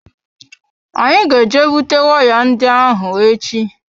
Anyị ga eje bute waya ndị ahụ echi.